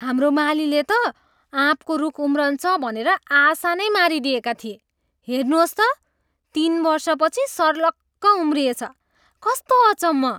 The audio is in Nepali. हाम्रो मालीले त आँपको रूख उम्रन्छ भनेर आशा नै मारिदिएका थिए। हेर्नुहोस् त, तिन वर्षपछि सर्लक्क उम्रिएछ। कस्तो अचम्म!